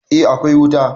eh akwai wuta